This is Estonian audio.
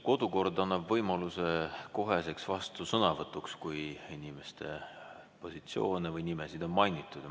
Kodukord annab võimaluse koheseks vastusõnavõtuks, kui inimese positsiooni või nime on mainitud.